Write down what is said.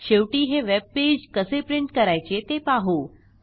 शेवटी हे वेबपेज कसे प्रिंट करायचे ते पाहू